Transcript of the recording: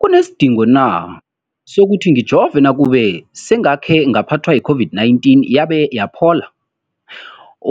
kunesidingo na sokuthi ngijove nakube sengakhe ngaphathwa yi-COVID-19 yabe yaphola?